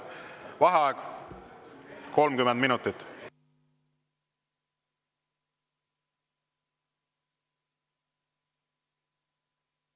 Vaheaeg 30 minutit.